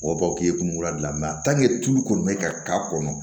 O b'a fɔ k'i ye kunkolo gilan tulu kɔni bɛ ka k'a kɔnɔ